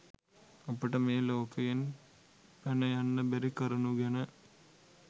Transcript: අපට මේ ලෝකයෙන් පැනයන්න බැරි කරුණු ගැන